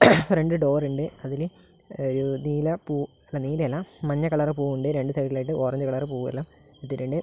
രണ്ട് ഡോർ ഉണ്ട് അതിലെ ഒരു നീലപ്പൂ അല്ല നീലയല്ല മഞ്ഞ കളർ പൂവുണ്ട് രണ്ട് സൈഡിൽ ആയിട്ട് ഓറഞ്ച് കളർ പൂവെല്ലാം ഇട്ടിട്ടുണ്ട്.